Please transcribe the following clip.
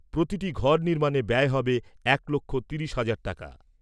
প্রতিটি ঘর নির্মাণে ব্যয় হবে এক লক্ষ তিরিশ হাজার টাকা।